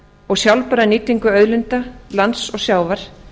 og sjálfbæra nýtingu auðlinda lands og sjávar